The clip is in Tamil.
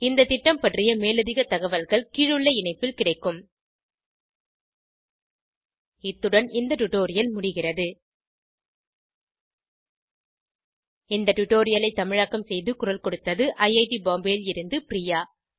இந்த திட்டம் பற்றிய மேலதிக தகவல்கள் கீழுள்ள இணைப்பில் கிடைக்கும் httpspoken tutorialorgNMEICT Intro இந்த டுடோரியலை தமிழாக்கம் செய்து குரல் கொடுத்தது ஐஐடி பாம்பேவில் இருந்து பிரியா